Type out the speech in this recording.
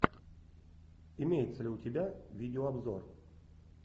имеется ли у тебя видеообзор